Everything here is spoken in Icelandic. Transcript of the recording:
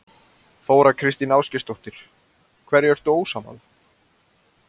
Þóra Kristín Ásgeirsdóttir: Hverju ertu ósammála?